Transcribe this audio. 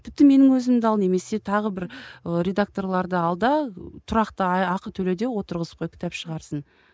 тіпті менің өзімді ал немесе тағы бір ы редакторларды ал да тұрақты ақы төле де отырғызып қой кітап шығарсын